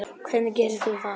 Hvernig gerir þú það?